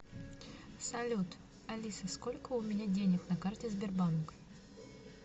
салют алиса сколько у меня денег на карте сбербанк